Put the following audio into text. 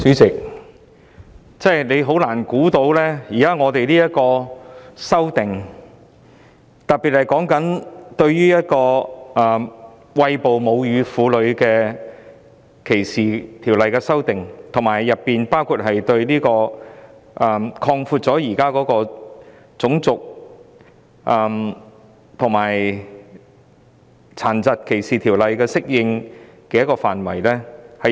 主席，真的很難想象我們要等多久，當局才提出《2018年歧視法例條例草案》，就歧視餵哺母乳作出修訂，以及擴闊《種族歧視條例》和《殘疾歧視條例》的適用範圍。